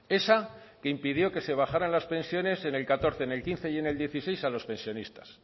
esa que impidió que se bajaran las pensiones en el catorce en el quince y en el dieciséis a los pensionista